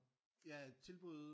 Ja tilbud